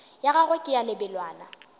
ya gagwe ke ya lebelwana